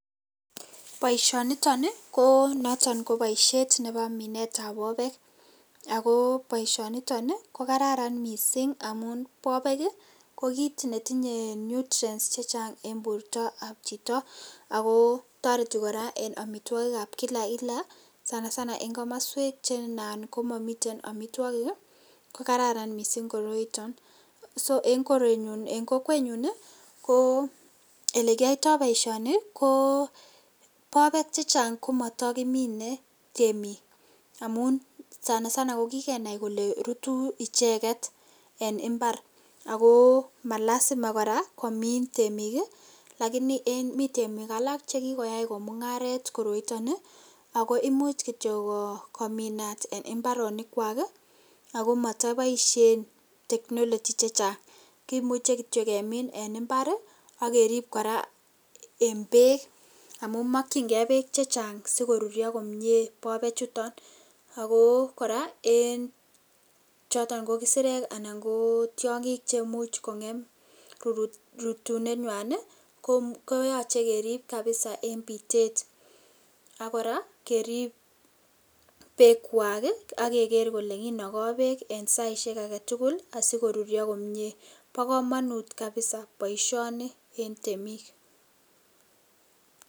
Boisioniton ii ko boishet nebo minetab bobek ako boishoniton ko Kararan missing' amun bobek ii kokit netinye nutrients chechang en bortab chito ako toreti koraa en omitwokikab kila kila sana sana en komoswek chenan komomiten omitwogik ko Kararan missing' koroiton so en korenyun en kokwenyun ii ko ole kiyoito boisioni ko bobek chechang komotokimine temik amun sana sana ko kilenai kele ruru icheket en imbar ako malasima komin temik ii , lakini mi temik alak chakikoyai ko mungaret koroiton ii ako imuch kominat en imbaronikwak ii ako motoboishen technology chechang kimuche kityok en imbar ii ak kerib en beek amun mokchingee beek chechang si korurio bobechuton ako koraa ko en isirek anan kotiongil chemuch kongem rutunwnywan ii koyoche kerib labisa en bitet ak koraa kerib beekwak ii ak keker koraa kele kinogo beek en saisiek agetul asikorurio komie bokomonut kabisa boisioni en temik.